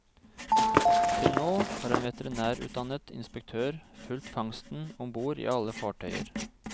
Til nå har en veterinærutdannet inspektør fulgt fangsten om bord i alle fartøyer.